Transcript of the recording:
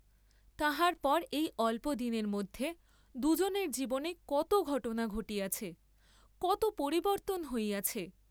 তাহার পর এই অল্প দিনের মধ্যে দুজনের জীবনে কত ঘটনা ঘটিয়াছে, কত পরিবর্ত্তন হইয়াছে।